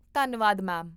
ਧੰਨਵਾਦ, ਮੈਮ